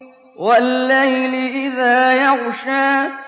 وَاللَّيْلِ إِذَا يَغْشَىٰ